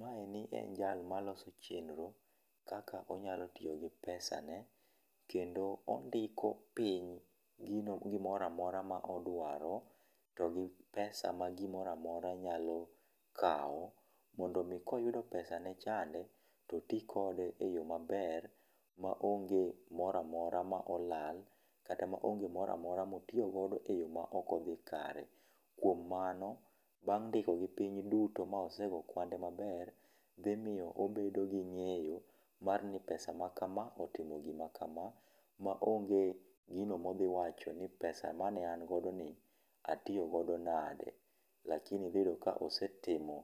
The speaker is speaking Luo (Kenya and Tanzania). Maeni en jal ma loso chenro kaka onyalo tiyo gi pesa ne. Kendo ondiko piny gino gimora mora ma odwaro to gi pesa ma gimora mora nyalo kao, mondo mii koyudo pesa ne chande, to oti kode e yo maber ma onge mora mora ma olal. Kata ma onge mora mora motiyo godo e yo ma okodhi kare. Kuom mano, bang' ndiko gi piny duto, ma osegoyo kwande maber, dhimiyo obedo gi ng'eyo mar ni pesa makama, otimo gima kama. Ma onge gino modhi wacho ni pesa mane an godo ni atiyo godo nade. Lakini dhi yudo ka osetimo